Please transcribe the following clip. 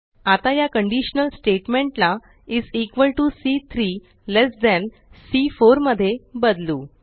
आता या conditional statement ला इस इक्वॉल टीओ सी3 लेस थान सी4 मध्ये बदलू